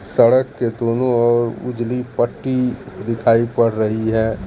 सड़क के दोनों ओर उजली पट्टी दिखाई पड़ रही है।